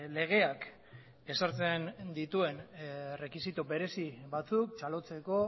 legeak ezartzen dituen errekisito berezi batzuk txalotzeko